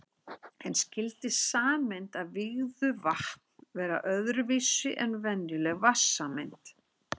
En skyldi sameind af vígðu vatn vera öðru vísi en venjuleg vatnssameind?